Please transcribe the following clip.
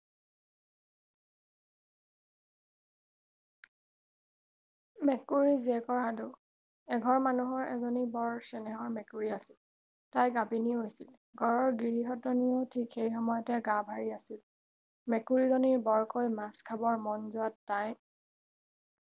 মেকুৰী জীয়েকৰ সাধু এঘৰ মানুহৰ এজনী বৰ চেনেহৰ মেকুৰী আছিল তাই গাভিনী হৈছিল ঘৰৰ গিৰিহঁতনীও ঠিক সেই সময়তে গা ভাৰি আছিল মেকুৰী জনী বৰকৈ মাছ খাবৰ মন যোৱাত তাই